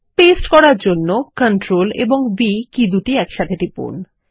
paste করার জন্য Ctrl ও V কী দুটি একসঙ্গে টিপুন